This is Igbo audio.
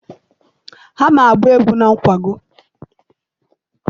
Ha na-agba egwu na nkwago?